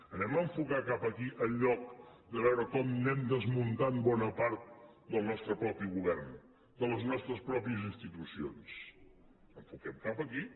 anem a enfocar cap aquí en lloc de veure com anem desmuntant bona part del nostre mateix govern de les nostres pròpies institucions enfoquem cap aquí